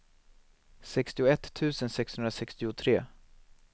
sextioett tusen sexhundrasextiotre